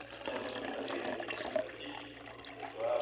Maintenant le spontané est automatique et donc obligatoire.